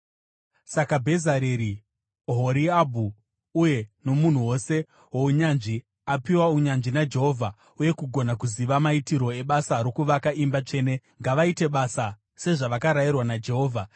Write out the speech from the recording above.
“Saka Bhezareri, Ohoriabhu uye nomunhu wose wounyanzvi apiwa unyanzvi naJehovha uye kugona kuziva maitirwo ebasa rokuvaka imba tsvene ngavaite basa sezvakarayirwa naJehovha.”